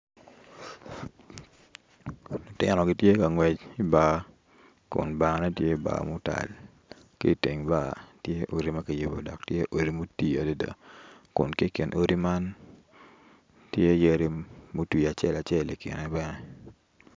Lutino gitye ka ngwec ibar kun barne tye bar mutal ki iteng bar tye odi ma kiyubo dok tye odi mutii adada kun ki ikin odi man tye yadi mutwii acel acel i kine bene.